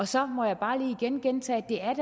så må jeg bare lige igen gentage